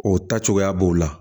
O ta cogoya b'o la